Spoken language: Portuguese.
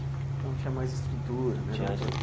Então tinha mais estrutura, né?